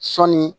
Sɔɔni